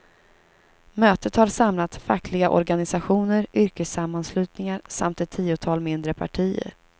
Mötet har samlat fackliga organisationer, yrkessammanslutningar samt ett tiotal mindre partier.